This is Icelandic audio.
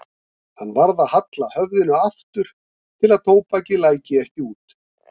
Hann varð að halla höfðinu aftur til að tóbakið læki ekki út.